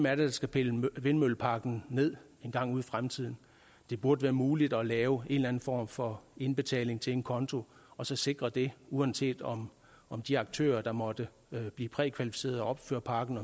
er der skal pille vindmølleparken ned engang ude i fremtiden det burde være muligt at lave en eller anden form for indbetaling til en konto og så sikre det uanset om om de aktører der måtte blive prækvalificeret og opfører parken